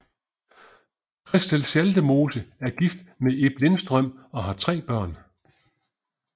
Christel Schaldemose er gift med Ib Lindstrøm og har tre børn